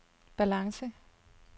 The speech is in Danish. balance